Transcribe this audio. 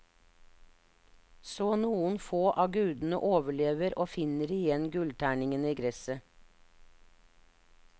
Så noen få av gudene overlever og finner igjen gullterningene i gresset.